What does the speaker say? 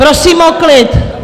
Prosím o klid!